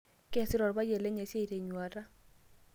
Keesita olpayian lenye esiai tenyuata.